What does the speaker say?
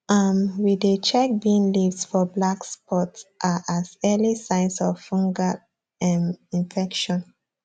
um we dey check bean leaves for black spots um as early signs of fungal um infection